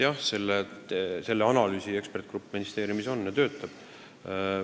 Jah, selle analüüsi eksperdigrupp ministeeriumis töötab.